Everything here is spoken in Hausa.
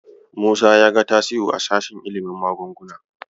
Musa ya ga Tasi'u a sashen ilimin magunguna.